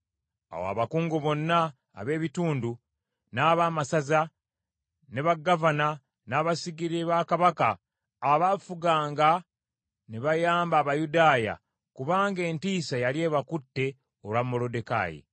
Awo abakungu bonna ab’ebitundu, n’abaamasaza, ne bagavana n’abasigire ba kabaka abaafuganga ne bayamba Abayudaaya, kubanga entiisa yali ebakutte olwa Moluddekaayi.